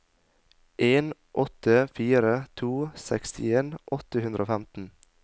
en åtte fire to sekstien åtte hundre og femten